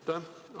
Aitäh!